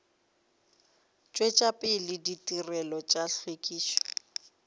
tšwetša pele ditirelo tša hlwekišo